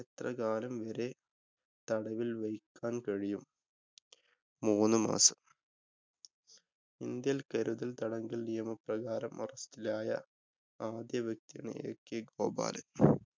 എത്ര കാലം വരെ തടവില്‍ വക്കാന്‍ കഴിയും? മൂന്നുമാസം. ഇന്ത്യയില്‍ കരുതല്‍ തടങ്കല്‍ നിയമ പ്രകാരം അറസ്റ്റിലായ ആദ്യ വ്യക്തി? ak ഗോപാലന്‍.